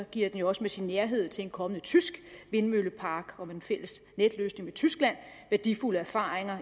giver den jo også med sin nærhed til en kommende tysk vindmøllepark og med den fælles netløsning med tyskland værdifulde erfaringer